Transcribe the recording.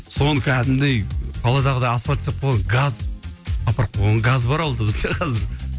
соны кәдімгідей қаладағыдай асфальт істеп қойған газ апарып қойған газ бар ауылда бізде қазір